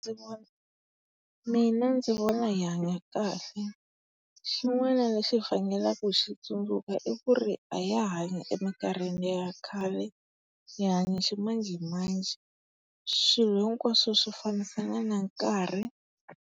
mina ndzi vona hi hanya kahle. Xin'wana lexi hi faneleke hi xi tsundzuka i ku ri a ha ha hanyi emikarhini ya khale, hi hanya ximanjhemanjhe. Swilo hinkwaswo swi fambisana na nkarhi.